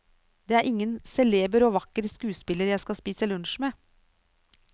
Det er ingen celeber og vakker skuespiller jeg skal spise lunsj med.